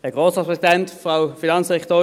Kommissionssprecher der FiKo.